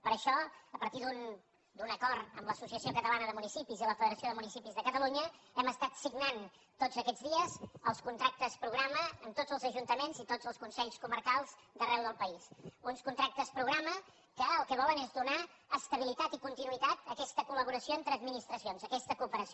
per això a par·tir d’un acord amb l’associació catalana de municipis i la federació de municipis de catalunya hem estat signant tots aquests dies els contractes programa amb tots els ajuntaments i tots els consells comarcals d’ar·reu del país uns contractes programa que el que volen és donar estabilitat i continuïtat a aquesta colentre administracions a aquesta cooperació